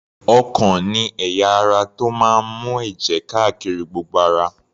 Ọkàn ni ẹ̀yà ara tó máa ń mú èjè káárí gbogbo ara.